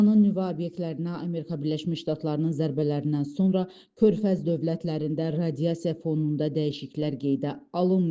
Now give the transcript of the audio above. İranın nüvə obyektlərinə Amerika Birləşmiş Ştatlarının zərbələrindən sonra Körfəz dövlətlərində radiasiya fonunda dəyişikliklər qeydə alınmayıb.